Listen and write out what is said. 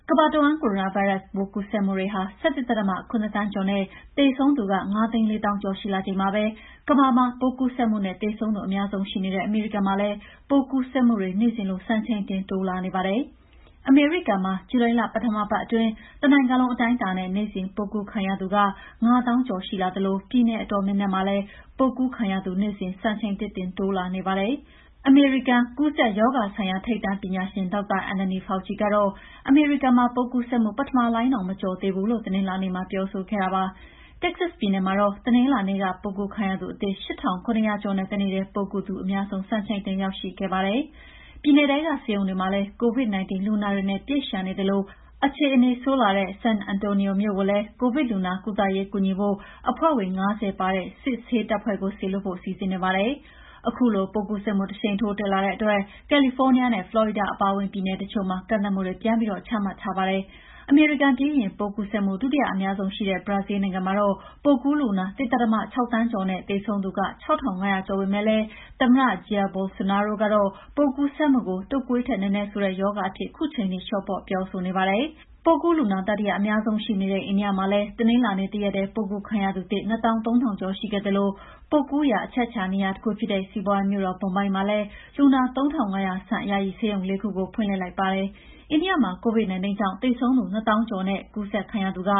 ကမ္ဘာတဝှမ်း ကိုရိုနာဗိုင်းရပ်စ်ပိုးကူးစက်မှုတွေ ၁၁.၇ သန်းကျော်နဲ့ သေဆုံးသူ ၅၄၀,၀၀၀ ကျော်ရှိလာချိန်မှာပဲ ကမ္ဘာ့မှာ ပိုးကူးစက်မှုနဲ့ သေဆုံးသူအများဆုံး ရှိနေတဲ့ အမေရိကန်မှာလည်း ပိုးကူးစက်မှုတွေ့နေစဉ်လို စံချိန်တင်တိုးလာနေပါတယ်။ အမေရိကန်မှာ ဇူလိုင်လပထမပတ်မှာ တနိုင်ငံလုံးအတိုင်းအတာနဲ့ နေ့စဉ်ပိုးကူးခံရသူ ၅၀,၀၀၀ ကျော်ရှိလာသလို ပြည်နယ်အတော်များများမှာလည်း ပိုးကူးခံရသူ နေ့စဉ်စံချိန်သစ်တင်တိုးလာနေပါတယ်။ အမေရိကန်က ကူးစက်ရောဂါဆိုင်ရာ ထိပ်တန်းပညာရှင် Dr Anthony Fauci ကတော့ အမေရိကန်မှာ ပိုးကူးစက်မှု ပထမလှိုင်းတောင် မကျော်နိုင်သေးဘူးလို့ တနင်္လာနေ့မှာ ပြောဆိုခဲ့တာပါ။ တက္ကဆတ်ပြည်နယ်မှာတော့ တနင်္လာနေ့က ပိုးကူးခံရသူအသစ် ၈,၇၀၀ ကျော်နဲ့ တနေ့ထဲ ပိုးကူးသူအများဆုံး စံချိန်တင်ရောက်ရှိခဲ့တာပါ။ ပြည်နယ်ထဲက ဆေးရုံတွေမှာလည်း COVID-19 လူနာတွေနဲ့ ပြည့်လျှံနေသလို အခြေအနေဆိုးလာတဲ့ San Antonio မြို့ကိုလည်း COVID လူနာကုသရေးကူညီဖို့ အဖွဲ့ဝင် ၅၀ ပါတဲ့ စစ်ဆေးတပ်ဖွဲ့ကို စေလွှတ်ဖို့ စီစဉ်နေပါတယ်။ ခုလို ပိုးကူးစက်မှုတရှိန်ထိုး တက်လာတဲ့အတွက် ကယ်လီဖိုးနီးယားနဲ့ ဖလော်ရီဒါအပါအဝင် ပြည်နယ်တချို့မှာ ကန့်သတ်မှုတွေ ပြန်ပြီး ချမှတ်ထားပါတယ်။ အမေရိကန်ပြီးရင် ပိုးကူးစက်မှု ဒုတိယအများဆုံးရှိတဲ့ ဘရာဇီးလ်နိုင်ငံမှာ ပိုးကူးလူနာ ၁.၆ သန်းကျော်နဲ့ သေဆုံးသူက ၆,၅၀၀ ကျော်ပေမဲ့ သမ္မတ Jair Bolsonaro ကတော့ ပိုးကူးစက်မှုကို တုပ်ကွေးထက်နည်းနည်းဆိုးတဲ့ ရောဂါအဖြစ် ခုချိန်ထိ လေ ျှာ့ပေါ့ ပြောဆိုနေတာပါ။ ပိုးကူးလူနာ တတိယအများဆုံးရှိနေတဲ့ အိန္ဒိယမှာလည်း တနလာၤနေ့တရက်ထဲ ပိုးကူးခံရသူသစ် ၂၃,၀၀၀ ကျော်ရှိခဲ့သလို ပိုးကူးစက်ရာ အချက်အချာ နေရာတခုဖြစ်တဲ့ စီးပွားရေးမြို့တော် မွန်ဘိုင်းမှာ လူနာ ၃,၅၀၀ ဆန့်ယာယီဆေးရုံ ၄ ခု ဒီကနေ့ပဲ ဖွင့်လှစ်လိုက်ပါတယ်။ အိန္ဒိယမှာ COVID -19 ကြောင့်သေဆုံးသူ ၂၀,၀၀၀ ကျော်နဲ့ ကူးစက်ခံထားရသူက